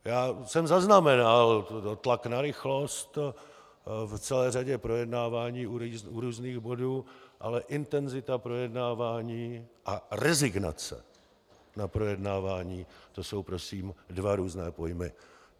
Já jsem zaznamenal tlak na rychlost v celé řadě projednávání u různých bodů, ale intenzita projednávání a rezignace na projednávání, to jsou prosím dva různé pojmy.